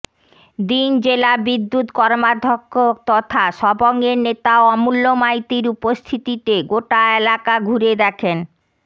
দিন জেলা বিদ্যুৎ কর্মাধ্যক্ষ তথা সবংয়ের নেতা অমূল্য মাইতির উপস্থিতিতে গোটা এলাকা ঘুরে দেখেন